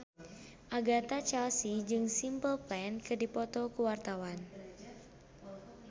Agatha Chelsea jeung Simple Plan keur dipoto ku wartawan